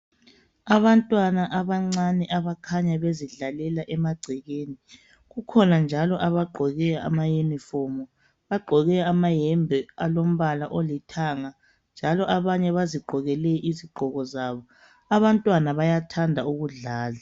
Abantwana abancane abakhanya bezidlalela emagcekeni, kukhona njalo abagqoke amayunifomu. Bagqoke amayembe alombala olithanga. Njalo abanye bazigqokele izigqoko zabo. Abantwana bayathanda ukudlala.